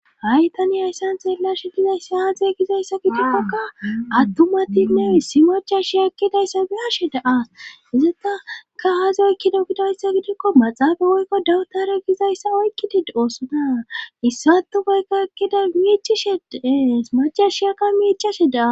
ha7i tani ayssan xeelashe gizayssa haaze gizayssa gidikkoka attumatinneissi machashia ekkidayssa bilashe daas izataka haazi oykkido gidayssa gidikko maxaafa woykko dawutare gizayssa oykkidid oosona issatufeykka ekkida miichishe deees machashiyakka miichashe daa